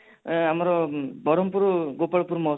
ଆମର ବରମପୁର ଗୋପାଳପୁର ମହୋଚ୍ଚବ ରେ